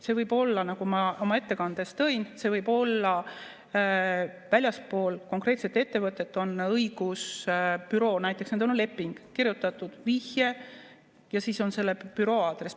See võib olla, nagu ma oma ettekandes välja tõin, väljaspool konkreetset ettevõtet, on näiteks õigusbüroo, nendel on leping, on kirjutatud "vihje" ja siis on selle büroo aadress.